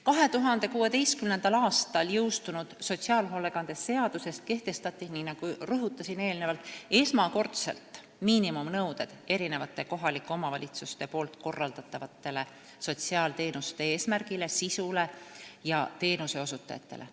2016. aastal jõustunud sotsiaalhoolekande seaduses kehtestati, nii nagu ma rõhutasin eelnevalt, esmakordselt miinimumnõuded kohalike omavalitsuste korraldatavate sotsiaalteenuste eesmärgile, sisule ja teenuseosutajatele.